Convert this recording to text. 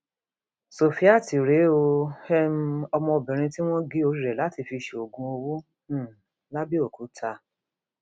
sofiat rèé o um ọmọbìnrin tí wọn gé orí rẹ láti fi ṣoògùn owó um làbẹọkútà